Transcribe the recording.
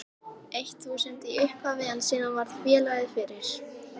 eitt þúsund í upphafi en síðan varð félagið fyrir